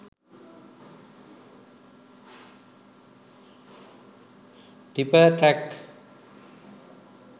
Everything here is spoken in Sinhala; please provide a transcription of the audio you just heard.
tipper trak